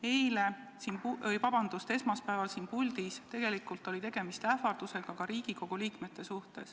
Esmaspäeval ähvardati siin puldis tegelikult ka Riigikogu liikmeid.